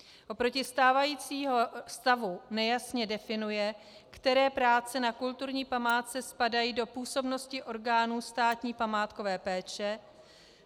Oproti stávajícímu stavu nejasně definuje, které práce na kulturní památce spadají do působnosti orgánů státní památkové péče.